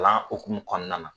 Kalan okumu kɔnɔna na